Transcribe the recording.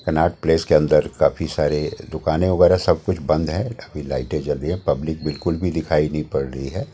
Connaught Place के अंदर काफी सारे दुकानें वगैरह सब कुछ बंद है अभी लाइटें जल रही है पब्लिक बिल्कुल भी दिखाई नहीं पड़ रही है।